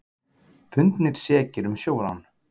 Fundnir sekir um sjórán